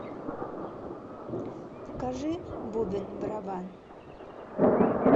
покажи бубен барабан